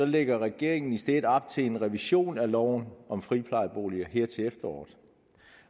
lægger regeringen i stedet op til en revision af loven om friplejeboliger her til efteråret